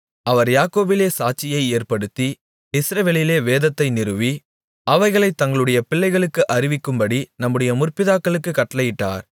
அவர் யாக்கோபிலே சாட்சியை ஏற்படுத்தி இஸ்ரவேலிலே வேதத்தை நிறுவி அவைகளைத் தங்களுடைய பிள்ளைகளுக்கு அறிவிக்கும்படி நம்முடைய முற்பிதாக்களுக்குக் கட்டளையிட்டார்